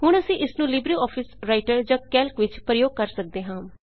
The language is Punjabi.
ਹੁਣ ਅਸੀਂ ਇਸਨੂੰ ਲਿਬ੍ਰੇ ਆਫਿਸ ਰਾਈਟਰ ਜਾਂ ਕੈਲਕ ਵਿੱਚ ਪ੍ਰਯੋਗ ਕਰ ਸੱਕਦੇ ਹਾਂ